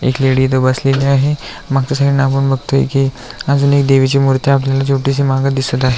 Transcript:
एक लेडी इथ बसलेली आहे मागच्या साइड ला बघतोय की अजून एक देवीची मूर्ती आपल्याला मागे दिसत आहे.